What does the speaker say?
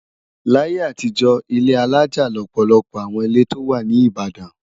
Láyé àtijọ́, ilé alájà lọ̀pọ̀lọpọ̀ àwọn ilé tó wà ní Ìbàdàn.